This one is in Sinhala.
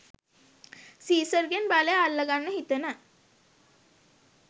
සීසර්ගෙන් බලය අල්ලගන්න හිතන